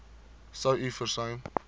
sou u versuim